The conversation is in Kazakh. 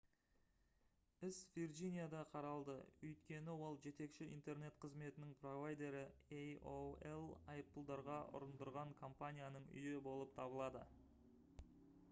іс вирджинияда қаралды өйткені ол жетекші интернет қызметінің провайдері aol айыппұлдарға ұрындырған компанияның үйі болып табылады